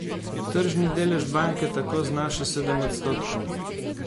Tržni delež banke tako znaša sedem odstotkov.